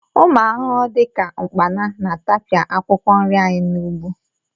Ụmụ arụrụ dị ka ụkpana na-atapịa akwụkwọ nri anyị n'ugbo